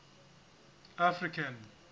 african